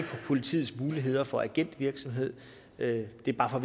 politiets muligheder for agentvirksomhed det er bare for